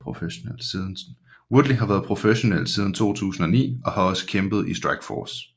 Woodley har været professionel siden 2009 og har også kæmpet i Strikeforce